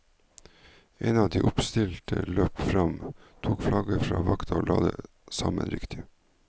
En av de oppstilte løp fram, tok flagget fra vakta og la det sammen riktig.